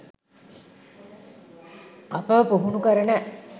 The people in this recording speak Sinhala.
අපව පුහුණු කරන